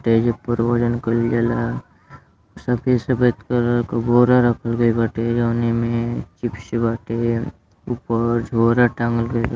त एहि पर वजन कईल जाला। सफ़ेद सफ़ेद कलर क बोरा रखल बाटे जौनि में चिप्स बाटे। ऊपर झोरा टांगल गइल बा।